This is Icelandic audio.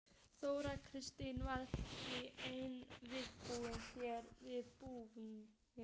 Þóra Kristín: Verðið þið með einhvern viðbúnað hérna við brúna?